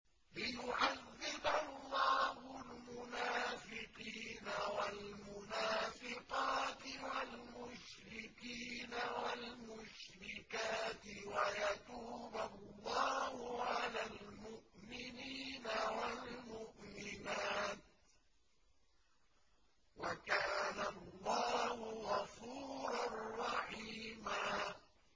لِّيُعَذِّبَ اللَّهُ الْمُنَافِقِينَ وَالْمُنَافِقَاتِ وَالْمُشْرِكِينَ وَالْمُشْرِكَاتِ وَيَتُوبَ اللَّهُ عَلَى الْمُؤْمِنِينَ وَالْمُؤْمِنَاتِ ۗ وَكَانَ اللَّهُ غَفُورًا رَّحِيمًا